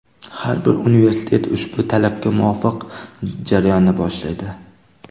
Har bir universitet ushbu talabga muvofiq jarayonni boshlaydi.